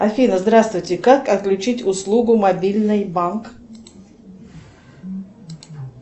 афина здравствуйте как отключить услугу мобильный банк